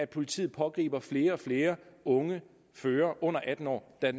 politiet pågriber flere og flere unge førere under atten år der